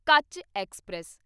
ਕੱਚ ਐਕਸਪ੍ਰੈਸ